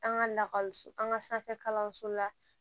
An ka lakɔliso an ka sanfɛ kalanso la